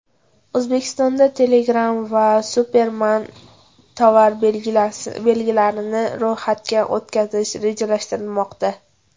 O‘zbekistonda Telegram va Superman tovar belgilarini ro‘yxatdan o‘tkazish rejalashtirilmoqda.